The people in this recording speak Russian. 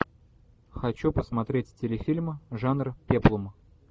хочу посмотреть телефильм жанр пеплум